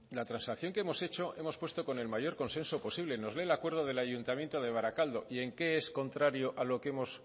la transacción que hemos hecho hemos puesto con el mayor consenso posible nos lee el acuerdo del ayuntamiento de barakaldo y en qué es contrario